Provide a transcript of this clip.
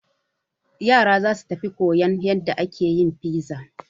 Yara za su tafi koyan yadda ake yin fiza.